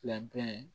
Labɛn